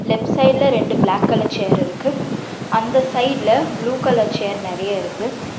Left சைடுல ரெண்டு பிளாக்ல சேர் இருக்கு அந்த சைட்ல ப்ளூ கலர் சேர் நிறைய இருக்கு.